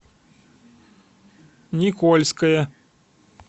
никольское